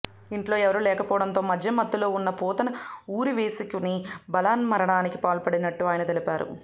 ఇంట్లో ఎవరూ లేకపోవడంతో మద్యం మత్తులో ఉన్న పోతన్న ఉరి వేసుకొని బలవన్మరణానికి పాల్పడినట్టు ఆయన తెలిపారు